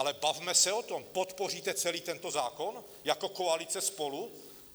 Ale bavme se o tom: podpoříte celý tento zákon jako koalice SPOLU?